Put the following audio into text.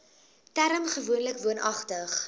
term gewoonlik woonagtig